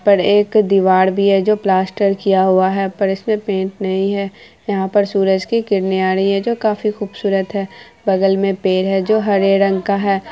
पर एक दीवार भी है जो प्लास्टर किया हुआ है पर इसमें पेंट नहीं है| यहाँ पर सूरज की किरणे आ रही जो काफी खूबसूरत है| बगल में पेड़ है जो हरे रंग का है।